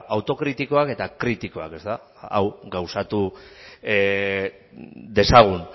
autokritikoak eta kritikoak hau gauzatu dezagun